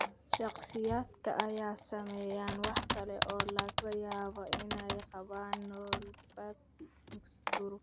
Shakhsiyaadka ay saameeyeen waxa kale oo laga yaabaa inay qabaan neuropathy durugsan.